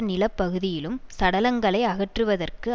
நில பகுதியிலும் சடலங்களை அகற்றுவதற்கு